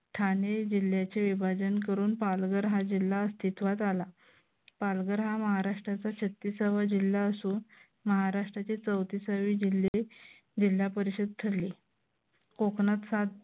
ठाणे जिल्ह्याचे विभाजन करून पालघर हा जिल्हा अस्तित्वात आला. पालघर हा महाराष्ट्राचा छत्तीसावा जिल्हा असून महाराष्ट्राचे चौतिसावे जिल्हे जिल्हापरिशद ठरले. कोकणात सात